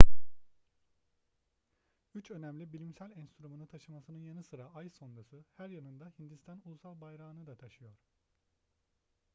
üç önemli bilimsel enstrümanı taşımasının yanı sıra ay sondası her yanında hindistan ulusal bayrağını da taşıyor